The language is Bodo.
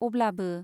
अब्लाबो